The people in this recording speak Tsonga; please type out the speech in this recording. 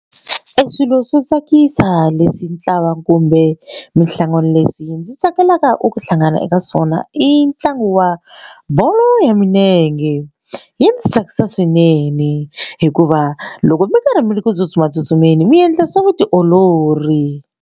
Swilo swo tsakisa leswi ntlawa kumbe minhlangano leswi ndzi tsakelaka u ku hlangana eka swona i ntlangu wa bolo ya milenge yi ndzi tsakisa swinene hikuva loko mi karhi mi ri ku tsutsuma tsutsumeni mi endla swa vutiolori.